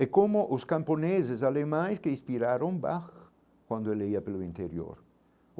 É como os camponeses alemães que inspiraram Bach quando ele ia pelo interior.